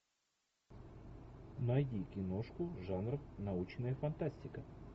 найди киношку жанра научная фантастика